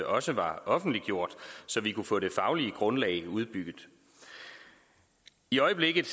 også var offentliggjort så vi kunne få det faglige grundlag udbygget i øjeblikket